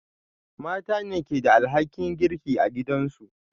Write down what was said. Mata ne ke da alhakin girki a gidansu